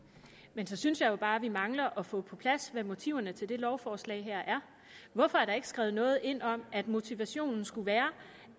men så synes jeg jo bare vi mangler at få på plads hvad motiverne til det lovforslag her er hvorfor er der ikke skrevet noget ind om at motivationen skulle være